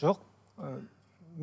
жоқ ы